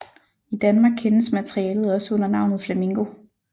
I Danmark kendes materialet også under navnet Flamingo